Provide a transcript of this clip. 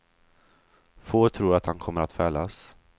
Få tror att han kommer att fällas.